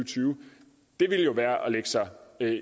tyve ville jo være at lægge sig